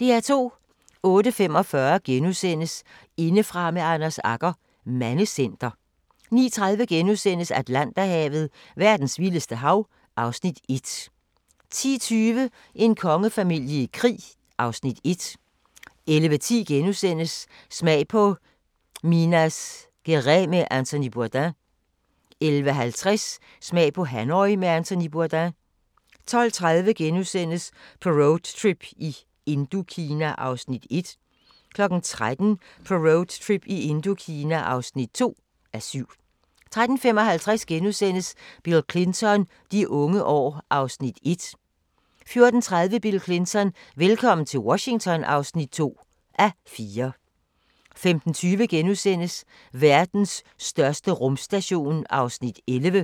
08:45: Indefra med Anders Agger – Mandecenter * 09:30: Atlanterhavet: Verdens vildeste hav (Afs. 1)* 10:20: En kongefamilie i krig (Afs. 1) 11:10: Smag på Minas Gerais med Anthony Bourdain * 11:50: Smag på Hanoi med Anthony Bourdain 12:30: På roadtrip i Indokina (1:7)* 13:00: På roadtrip i Indokina (2:7) 13:35: Bill Clinton: De unge år (1:4)* 14:30: Bill Clinton: Velkommen til Washington (2:4) 15:20: Verdens største rumstation (11:21)*